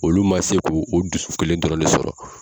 Olu ma se k'o dusu kelen dɔrɔnw de sɔrɔ.